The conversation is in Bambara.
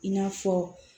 I n'a fɔ